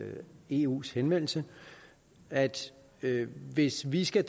eus henvendelse at at hvis vi skal